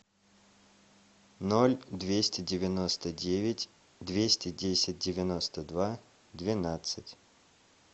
ноль двести девяносто девять двести десять девяносто два двенадцать